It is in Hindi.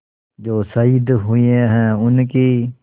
जो शहीद हुए हैं उनकी